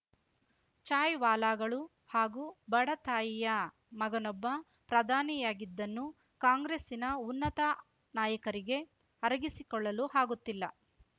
ಚಾಯ್‌ವಾಲಾಗಳು ಹಾಗೂ ಬಡ ತಾಯಿಯ ಮಗನೊಬ್ಬ ಪ್ರಧಾನಿಯಾಗಿದ್ದನ್ನು ಕಾಂಗ್ರೆಸ್ಸಿನ ಉನ್ನತ ನಾಯಕರಿಗೆ ಅರಗಿಸಿಕೊಳ್ಳಲು ಹಾಗುತ್ತಿಲ್ಲ